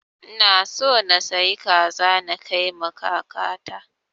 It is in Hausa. Ina so na sayi kaza na kai wa kaka ta